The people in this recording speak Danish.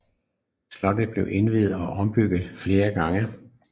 Slottet blev udvidet og ombygget flere gange